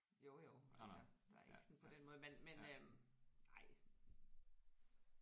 Jo jo altså der er ikke sådan på den måde men men øh ej